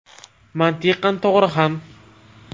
Mantiqan to‘g‘ri ham.